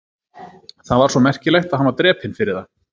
Það var svo merkilegt að hann var drepinn fyrir það?